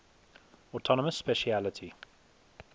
autonomous specialty